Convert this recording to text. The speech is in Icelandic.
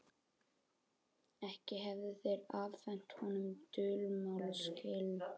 Ekki hefðu þeir afhent honum dulmálslykil.